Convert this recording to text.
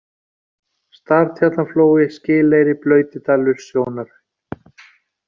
Startjarnarflói, Skileyri, Blautidalur, Sjónarhraun